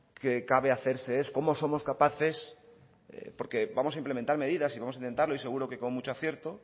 que cabe hacerse es cómo somos capaces porque vamos a implementar medidas y vamos a intentarlo y seguro que con mucho acierto